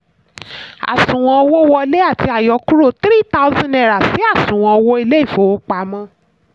àṣùwọ̀n owó wọlé àti àyọkúro ₦3000 si àṣùwọ̀n owó ilé ìfowópamọ́.